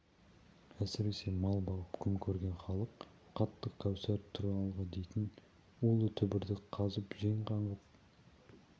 әсіресе мал бағып күн көрген халық қатты қаусап тұр алғы дейтін улы түбірді қазып жеп қаңғып